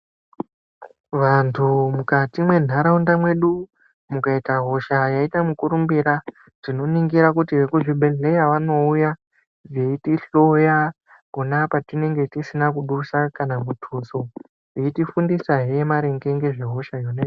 Vantu mukati mwenharaunda mwedu mukaita hosha yaita mukurumbira. Tinoningira kuti vekuzvibhedhlera vanouya veitihloya pona patinenge tisina kudusa kana mutuso, veitifundisahe maringe ngezve hosha yona iyoyo.